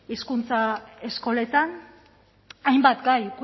hizkuntza eskoletan hainbat gai